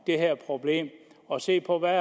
det her problem og se på hvad